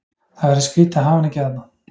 Það verður skrítið að hafa hann ekki þarna.